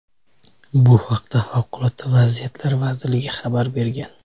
Bu haqda Favqulodda vaziyatlar vazirligi xabar bergan .